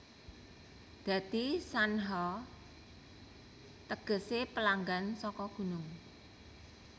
Dadi Shanha tegese pelanggan saka gunung